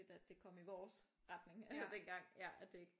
At det kom i vores retning dengang at det ikke